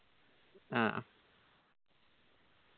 ആ